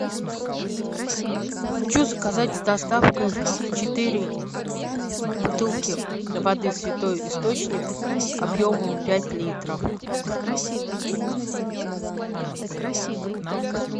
хочу заказать с доставкой четыре бутылки воды святой источник объемом пять литров